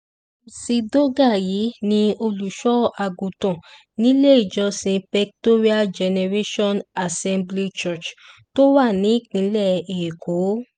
mcdougal yìí ní olùṣọ́àgùntàn nílé ìjọsìn pectorial generation assembly church tó wà nípìnlẹ̀ èkó